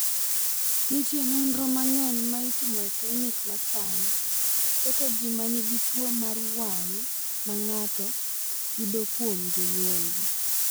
"Nitie nonro mang’eny ma itimo e klinik ma sani keto ji ma nigi tuwo mar wang’ ma ng’ato yudo kuom jonyuolgi."